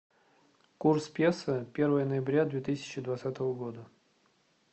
курс песо первое ноября две тысячи двадцатого года